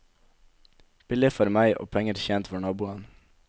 Billig for meg, og penger tjent for naboen.